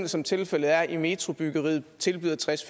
som tilfældet er i metrobyggeriet tilbyder tres